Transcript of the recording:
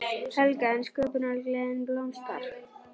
Helga: En sköpunargleðin blómstrar?